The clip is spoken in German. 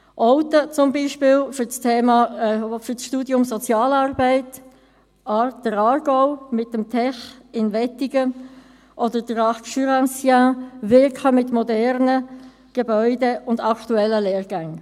Olten, zum Beispiel, für das Studium Sozialarbeit, der Aargau mit dem Tech in Wettingen oder der Arc Jurassien winken mit modernen Gebäuden und aktuellen Lehrgängen.